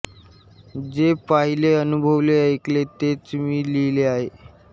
जे पाहिले अनुभवले ऐकले तेच मी लिहिले आहे